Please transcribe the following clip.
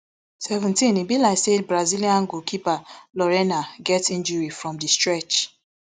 seventeen be like say brazilian goalkeeper lorena get injury from di stretch